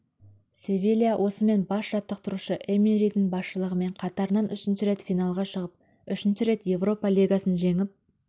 севилья осымен бас жаттықтырушы эмеридің басшылығымен қатарынан үшінші рет финалға шығып үшінші рет еуропа лигасын жеңіп